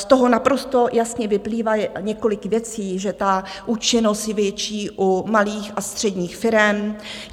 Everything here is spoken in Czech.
Z toho naprosto jasně vyplývá několik věcí, že ta účinnost je větší u malých a středních firem.